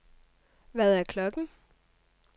Hvad er klokken